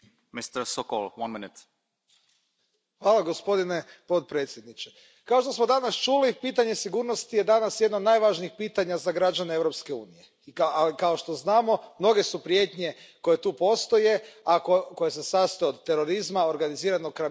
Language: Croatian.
Poštovani predsjedavajući, kao što smo danas čuli, pitanje sigurnosti je danas jedno od najvažnijih pitanja za građane Europske unije, a kao što znamo, mnoge su prijetnje koje tu postoje, a koje se sastoje od terorizma, organiziranog kriminala i ostalih nezakonitih radnji.